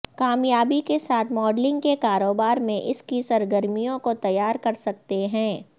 کامیابی کے ساتھ ماڈلنگ کے کاروبار میں اس کی سرگرمیوں کو تیار کر سکتے ہیں